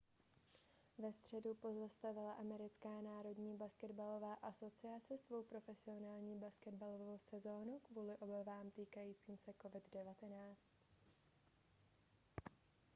ve středu pozastavila americká národní basketbalová asociace svou profesionální basketbalovou sezonu kvůli obávám týkajícím se covid-19